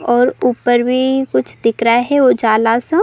और ऊपर भी कुछ दिख रहा हैं उजाला सा।